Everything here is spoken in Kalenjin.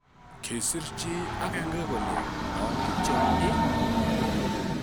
Kisir chi agenge kole, "Non kityok ii?"